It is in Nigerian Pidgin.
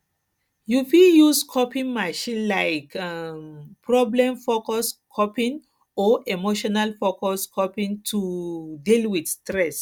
you fit you fit use coping mechanisms like um problemfocused coping or emotionfocused coping to um deal with stress